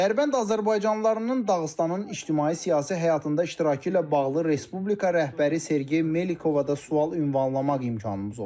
Dərbənd azərbaycanlılarının Dağıstanın ictimai-siyasi həyatında iştirakı ilə bağlı Respublika rəhbəri Sergey Melikova da sual ünvanlamaq imkanımız oldu.